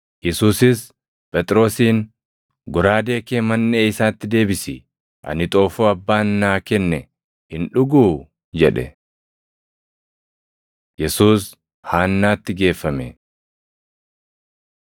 Yesuusis Phexrosiin, “Goraadee kee manʼee isaatti deebisi! Ani xoofoo Abbaan naa kenne hin dhuguu?” jedhe. Yesuus Haannaatti Geeffame 18:12,13 kwf – Mat 26:57